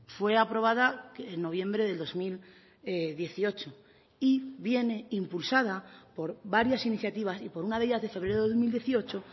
fue aprobada en noviembre de dos mil dieciocho y viene impulsada por varias iniciativas y por una de ellas de febrero de dos mil dieciocho